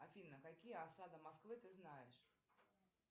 афина какие осады москвы ты знаешь